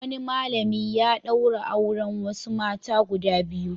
Wani malami ya ɗaura auren wasu mata guda biyu.